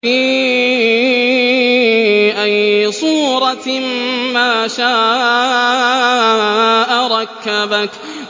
فِي أَيِّ صُورَةٍ مَّا شَاءَ رَكَّبَكَ